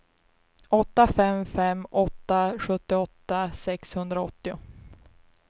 åtta fem fem åtta sjuttioåtta sexhundraåttio